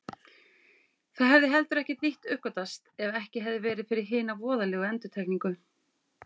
Það hefði heldur ekkert nýtt uppgötvast ef ekki hefði verið fyrir hina voðalegu endurtekningu.